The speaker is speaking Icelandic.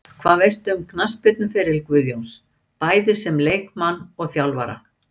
Hvað veistu um knattspyrnuferil Guðjóns, bæði sem leikmann og þjálfara?